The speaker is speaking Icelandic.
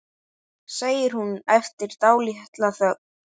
segir hún eftir dálitla þögn.